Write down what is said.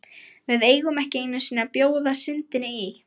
VIÐ EIGUM EKKI EINU SINNI AÐ BJÓÐA SYNDINNI Í